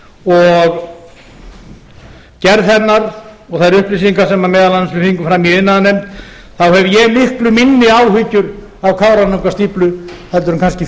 og gerð hennar og þær upplýsingar sem við fengum fram meðal annars í iðnaðarnefnd þá hef ég miklu minni áhyggjur af kárahnjúkastíflu heldur